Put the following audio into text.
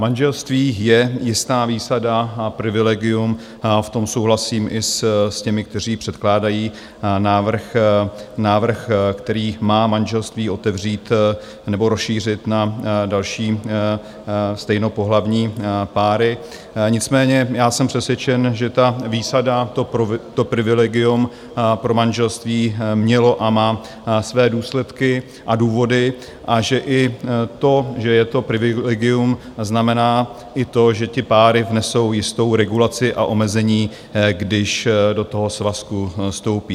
Manželství je jistá výsada a privilegium, v tom souhlasím i s těmi, kteří předkládají návrh, který má manželství otevřít nebo rozšířit na další stejnopohlavní páry, nicméně já jsem přesvědčen, že ta výsada, to privilegium, pro manželství mělo a má své důsledky a důvody a že i to, že je to privilegium, znamená i to, že ty páry nesou jistou regulaci a omezení, když do toho svazku vstoupí.